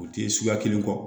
O tɛ suguya kelen kɔ